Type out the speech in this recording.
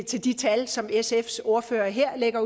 til de tal som sfs ordfører her lægger